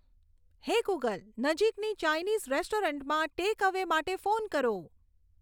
હે ગૂગલ નજીકની ચાઈનીઝ રેસ્ટોરન્ટમાં ટેકઅવે માટે ફોન કરો